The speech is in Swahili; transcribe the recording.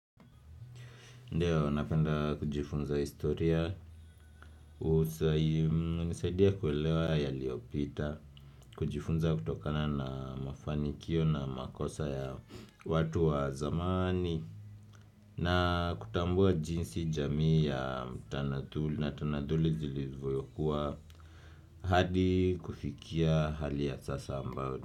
Ndio napenda kujifunza historia, husaidia kuelewa yaliyopita, kujifunza kutokana na mafanikio na makosa ya watu wa zamani na kutambua jinsi jamii ya tanaduli na tanaduli zilivoyokuwa hadi kufikia hali ya sasa ambayo.